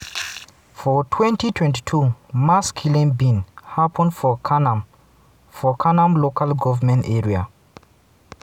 for 2022 mass killing bin happun for kanam for kanam local goment area.